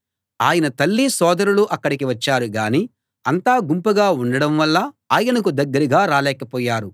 ఆయన తల్లీ సోదరులూ అక్కడికి వచ్చారు గానీ అంతా గుంపుగా ఉండడం వల్ల ఆయనకు దగ్గరగా రాలేకపోయారు